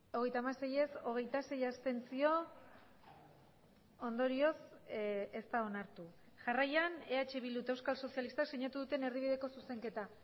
hogeita hamasei ez hogeita sei abstentzio ondorioz ez da onartu jarraian eh bildu eta euskal sozialistak sinatu duten erdibideko zuzenketa